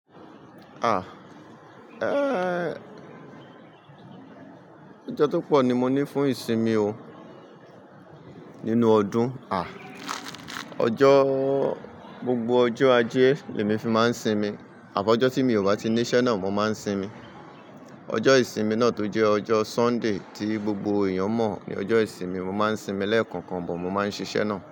Ọjọ́ tó pọ̀ ni mo ní fún ìsinmi o nínú ọdún. Ọjọ́, gbogbo ọjọ́ ajé ni èmi fi máa ń sinmi. Àti ọjọ́ tí mi ò bá ti ní iṣẹ́ náà mo máa ń sinmi. Ọjọ́ ìsinmi náà tó jẹ́ ọjọ́ Sunday tí gbogbo èèyàn mọ̀ ni ọjọ́ ìsinmi mo máa ń sinmi lẹ́ẹ̀kan kan bọ̀ mo máa ń ṣiṣẹ́ náà.